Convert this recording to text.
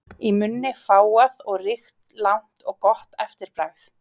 Í munni fágað og ríkt, langt og gott eftirbragð.